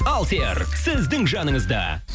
алсер сіздің жаныңызда